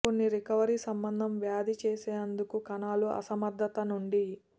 కొన్ని రికవరీ సంబంధం వ్యాధి చేసేందుకు కణాల అసమర్థత నుండి